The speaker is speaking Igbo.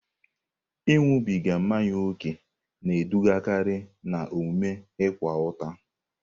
Ịṅụbiga mmanya ókè na-edugakarị n'omume ịkwa ụta.